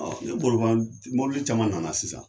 Ne bolo mɔbili caman nana sisan.